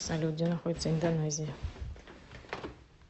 салют где находится индонезия